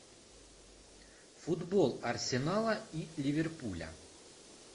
футбол арсенала и ливерпуля